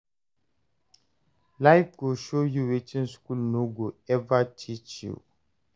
Life go show you wetin school no go ever teach you.